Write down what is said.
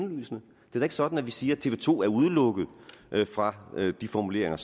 da ikke sådan at vi siger at tv to er udelukket fra de formuleringer